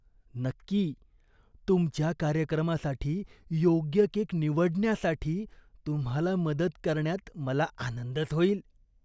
नक्की! तुमच्या कार्यक्रमासाठी योग्य केक निवडण्यासाठी तुम्हाला मदत करण्यात मला आनंदच होईल.